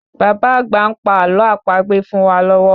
Baba àgbà ń pa àlọ àpagbè fún wá lọ́wọ́